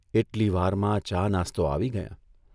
એટલી વારમાં ચા નાસ્તો આવી ગયાં.